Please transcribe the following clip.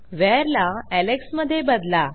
where ला Alex मध्ये बदला